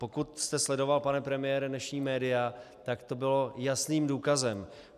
Pokud jste sledoval, pane premiére, dnešní média, tak to bylo jasným důkazem.